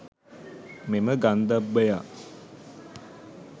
මෙම ගන්ධබ්බයා